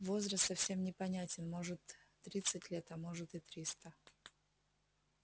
возраст совсем непонятен может тридцать лет а может и триста